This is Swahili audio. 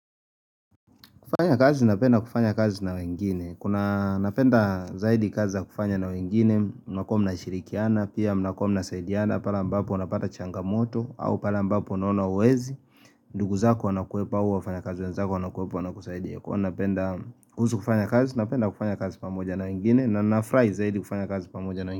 Kufanya kazi, napenda kufanya kazi na wengine, kuna napenda zaidi kazi za kufanya na wengine, unakomu na mshirikiana, pia unakomu na mnsaidiana, pale ambapo unapata changa moto, au pala mbapo unuona huwezi, ndugu zako wanakuwepa huu, wafanya kazi wenzako wanakuwepa, wana kusaidia, kuna napenda kufanya kazi, unapenda kufanya kazi pamoja na wengine, na na furahi zaidi kufanya kazi pamoja na wengine.